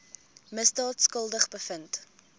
misdaad skuldig bevind